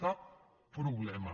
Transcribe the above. cap problema